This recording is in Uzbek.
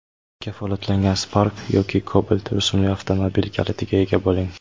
Kafolatlangan Spark yoki Cobalt rusumli avtomobil kalitiga ega bo‘ling.